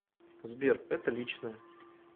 сбер это личное